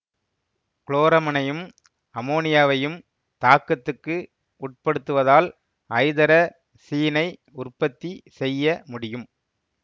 குளோரமைனையும் அமோனியாவையும் தாக்கத்துக்கு உட்படுத்துவதால் ஐதரசீனை உற்பத்தி செய்ய முடியும்